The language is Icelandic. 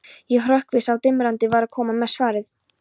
Ég hrökk við, sá dimmraddaði var að koma með svarið.